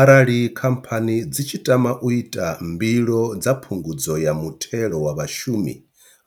Arali Khamphani dzi tshi tama u ita mbilo dza Phungudzo ya Muthelo wa Vhashumi,